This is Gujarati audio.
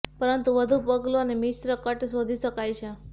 પરંતુ વધુ પગલું અને મિશ્ર કટ શોધી શકાય છે